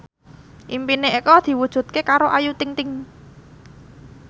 impine Eko diwujudke karo Ayu Ting ting